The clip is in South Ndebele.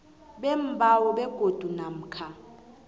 beembawo begodu namkha